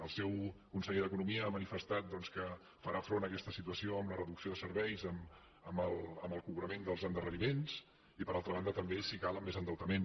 el seu conseller d’economia ha manifestat doncs que farà front a aquesta situació amb la reducció de serveis amb el cobrament dels endarreriments i per altra banda també si cal amb més endeutament